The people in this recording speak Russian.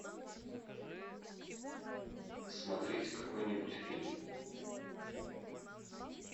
смотреть какой нибудь фильм